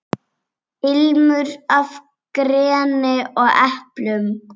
Ilmur af greni og eplum.